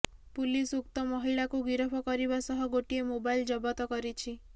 police ଉକ୍ତ ମହିଳାକୁ ଗିରଫ କରିବା ସହ ଗୋଟିଏ ମୋବାଇଲ ଜବତ କରିଛି